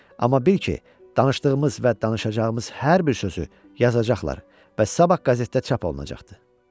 Amma bil ki, danışdığımız və danışacağımız hər bir sözü yazacaqlar və sabah qəzetdə çap olunacaqdır.